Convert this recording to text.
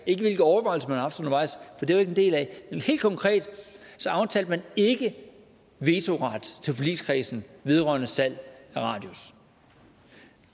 ikke hvilke overvejelser man har haft undervejs for det var ikke en del af det men helt konkret aftalte man ikke vetoret til forligskredsen vedrørende salg af radius